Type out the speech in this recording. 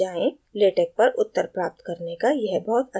latex पर उत्तर प्राप्त करने का यह बहुत अच्छा स्थान है